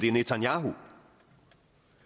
er netanyahu